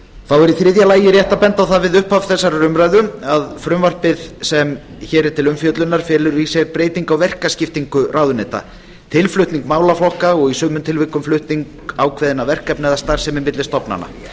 þá er í þriðja lagi rétt að benda á það við upphaf þessarar umræðu að frumvarpið sem hér er til umfjöllunar felur í sér breytingu á verkaskiptingu ráðuneyta tilflutning málaflokka og í sumum tilvikum flutning ákveðinna verkefna eða starfsemi milli stofnana